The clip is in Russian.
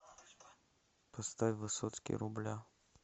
поставь высоцкий рубля